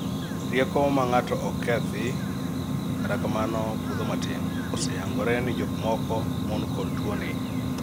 rieko ma ng'ato ok kethi, kata kamano budho matin oseyangore ne jok moko mon kod tuo ni